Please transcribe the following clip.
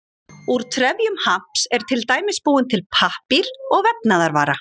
Úr trefjum hamps er til dæmis búinn til pappír og vefnaðarvara.